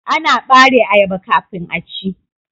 Ana bare ayaba kafin a ci.